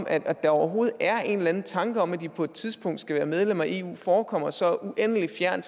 at der overhovedet er en eller anden tanke om at de på et tidspunkt skal være medlem af eu forekommer så uendelig fjern